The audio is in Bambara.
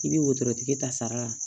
I bɛ wotorotigi ta sara la